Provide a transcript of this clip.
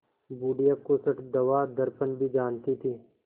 बुढ़िया खूसट दवादरपन भी जानती थी